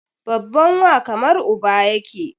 Babban wa kamar uba yake